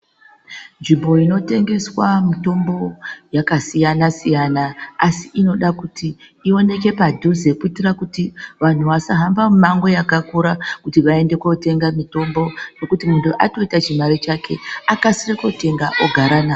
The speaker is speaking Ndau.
Nzvimbo inotengeswa mitombo yakasiyana siyana asi inoda kuti iwonekwe padhuze kuitira kuti vantu vasahamba mumango yakakura kuti vaende kotenga mitombo ngekuti muntu atoita chimare chake akase kotenga ogara nawo.